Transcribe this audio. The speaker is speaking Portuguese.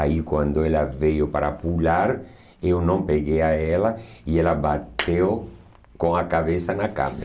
Aí, quando ela veio para pular, eu não peguei a ela e ela bateu com a cabeça na câmera.